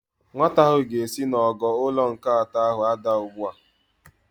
Nwata ahụ ga-esi n'ogo ụlọ nke atọ ahụ adaa ugbu a.